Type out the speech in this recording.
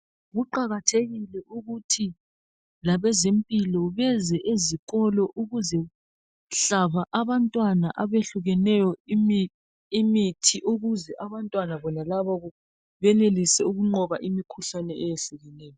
Kuqakathekile ukuthi labezimpilo beze ezikolo ukuzehlaba abantwana abehlukeneyo imithi ukuze abantwana bona labo benelise ukunqoba imikhuhlane ehlukehlukeneyo